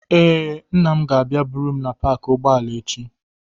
Ee, nna m ga-abịa buru m na paakị ụgbọala echi.